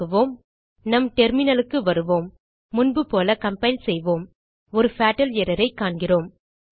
இயக்குவோம் நம் terminalக்கு வருவோம் முன்புபோல கம்பைல் செய்வோம் ஒரு பட்டால் errorஐ காண்கிறோம்